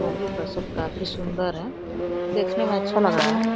वो भी फसल काफी सुन्दर है। देखने में अच्छा लग रहा है।